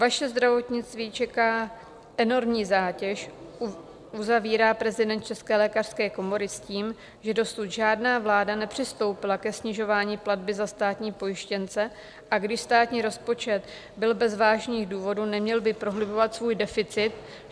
Vaše zdravotnictví čeká enormní zátěž, uzavírá prezident České lékařské komory s tím, že dosud žádná vláda nepřistoupila ke snižování platby za státní pojištěnce, a když státní rozpočet byl bez vážných důvodů, neměl by prohlubovat svůj deficit.